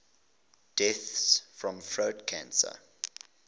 deaths from throat cancer